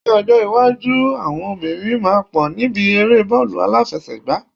Ni ọjọ iwájú, àwọn obìnrin máa pọ̀ níbi eré bọọlu aláfẹsẹ̀gá